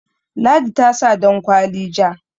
ladi ta sa dankwali ja